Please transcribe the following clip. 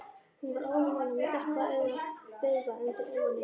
Hún var óðamála og með dökka bauga undir augunum